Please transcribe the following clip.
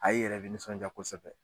i yɛrɛ be nisɔndiya kosɛbɛ